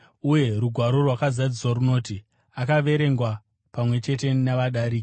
Uye rugwaro rwakazadziswa runoti, “Akaverengwa pamwe chete navadariki.”